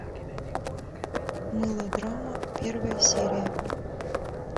мылодрама первая серия